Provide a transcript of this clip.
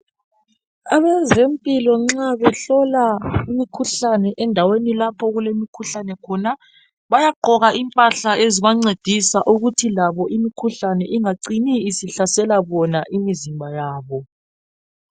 Abezempilo nxa behlola imikhuhlane endaweni lapho okulemikhuhlane khona bayagqoka impahla ezibancedisa ukuthi labo imikhuhlane ingacini isihlasela bona imizimba yabo.